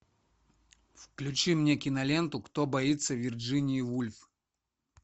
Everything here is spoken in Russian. включи мне киноленту кто боится вирджинии вульф